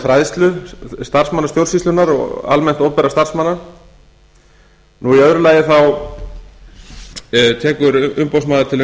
fræðslu starfsmanna stjórnsýslunnar og almennt opinberra starfsmanna í öðru lagi tekur umboðsmaður til